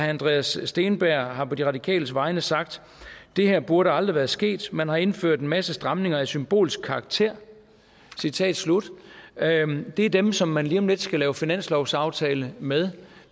andreas steenberg har på de radikales vegne sagt det her burde aldrig være sket man har indført en masse stramninger af symbolsk karakter citat slut det er dem som man lige om lidt skal lave finanslovsaftale med